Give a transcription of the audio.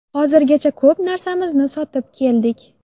Hozirgacha ko‘p narsamizni sotib keldik.